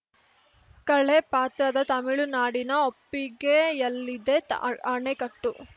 ಕೆಳ ಪಾತ್ರದ ತಮಿಳುನಾಡಿನ ಒಪ್ಪಿಗೆಯಲ್ಲಿದೆ ಅಣೆಕಟ್ಟು